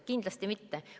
Kindlasti mitte.